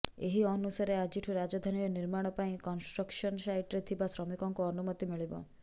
ଏହି ଅନୁସାରେ ଆଜିଠୁ ରାଜଧାନୀରେ ନିର୍ମାଣ ପାଇଁ କନଷ୍ଟ୍ରକ୍ସନ ସାଇଟରେ ଥିବା ଶ୍ରମିକଙ୍କୁ ଅନୁମତି ମିଳିବ